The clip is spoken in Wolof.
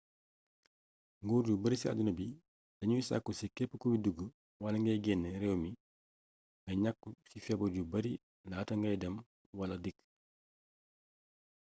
nguur yu bari ci àdduna bi dañuy sàkku ci képp kuy dug wala gay génn réew mi nga ñàqu ci feebar yu bari laata ngay dem wala dikk